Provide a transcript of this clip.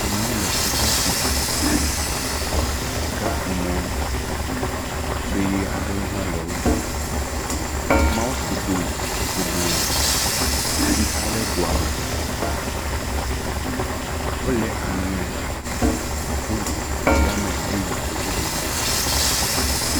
Amewo le sika kum. Sikakumɔ sue aɖewo hã le wo gbɔ. Ameawo ku do godoo. Tsi xa ɖe doa me. Wole aŋe tso tsia me heyi do bubu me.